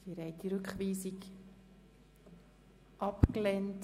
Sie haben auch diese Rückweisung abgelehnt.